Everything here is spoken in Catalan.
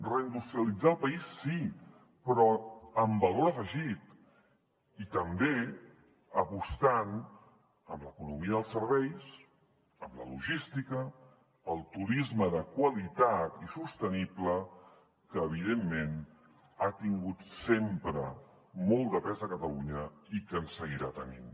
reindustrialitzar el país sí però amb valor afegit i també apostant amb l’economia dels serveis amb la logística el turisme de qualitat i sostenible que evidentment ha tingut sempre molt de pes a catalunya i que en seguirà tenint